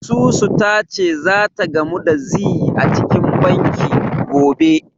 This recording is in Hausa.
Susu ta ce zata gamu da Zee a cikin banki, gobe.